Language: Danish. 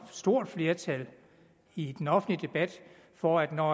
stort flertal i den offentlige debat for at når